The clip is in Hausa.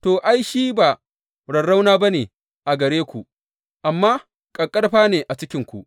To, ai, shi ba rarrauna ba ne a gare ku, amma ƙaƙƙarfa ne a cikinku.